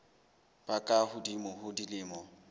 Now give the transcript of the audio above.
ba ka hodimo ho dilemo